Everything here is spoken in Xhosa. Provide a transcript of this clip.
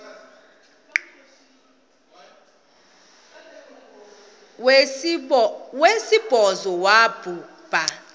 wesibhozo wabhu bha